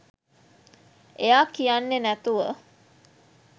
එයා කියන්නෙ නැතුව